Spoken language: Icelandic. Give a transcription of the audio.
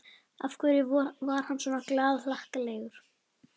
Af hverju var hann svona glaðhlakkalegur?